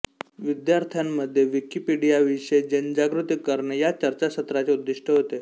विद्यार्थ्यांमध्ये विकिपीडियाविषयी जनजागृती करणे या चर्चासत्राचे उद्दीष्ट होते